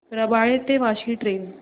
रबाळे ते वाशी ट्रेन